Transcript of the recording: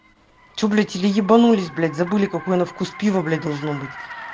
что блять или ебанулись блять забыли какое на вкус пиво блять должно быть